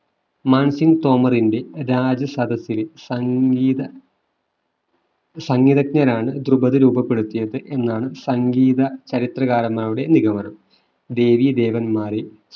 മാൻസിംഗ് തോമറിന്റെ രാജസദസ്സിലെ സംഗീത സംഗീതജ്ഞനാണ് ദ്രുപതു രൂപപ്പെടുത്തിയത് എന്നാണ് സംഗീത ചരിത്രകാരന്മാരുടെ നിഗമനം ദേവി ദേവന്മാരെ